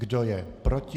Kdo je proti?